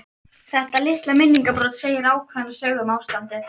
Þetta litla minningarbrot segir ákveðna sögu um ástandið.